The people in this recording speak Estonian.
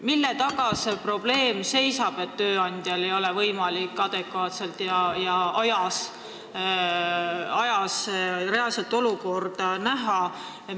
Mille taga see seisab, et tööandjal ei ole võimalik adekvaatselt reaalset olukorda näha?